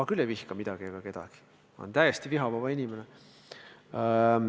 Ma küll ei vihka midagi ega kedagi, ma olen täiesti vihavaba inimene.